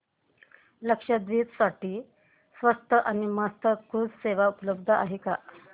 लक्षद्वीप साठी स्वस्त आणि मस्त क्रुझ सेवा उपलब्ध आहे का